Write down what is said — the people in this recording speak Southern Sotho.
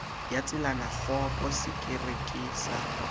ya tselakgopo sekere ke sa